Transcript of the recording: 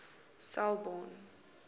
selborne